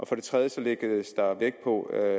for det tredje lægges der vægt på at